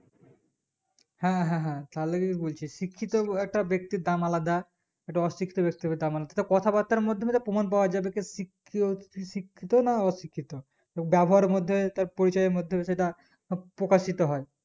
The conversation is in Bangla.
হ্যাঁ হ্যাঁ হ্যাঁ তার লেগেই বলছি যে শিক্ষিত একটা ব্যক্তির দাম আলাদা একটা অশিক্ষত ব্যক্তি হবে তার মানে সেটা কথা বার্তার মধ্যে প্রমান পাওয়া যাবে কেকি শিক্ষিত না অশিক্ষিত তার ব্যাবহারের মধ্যে তার পরিচয়ের মধ্যে সেটা সব প্রকাশিত হয়